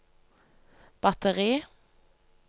batteri